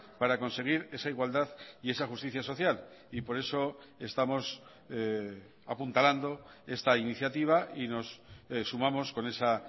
para conseguir esa igualdad y esa justicia social y por eso estamos apuntalando esta iniciativa y nos sumamos con esa